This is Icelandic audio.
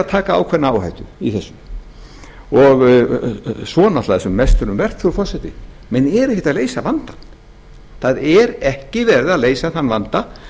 taka ákveðna áhættu í þessu svo er náttúrlega það sem mest er um vert frú forseti menn eru ekki að leysa vandann það er ekki verið að leysa þann vanda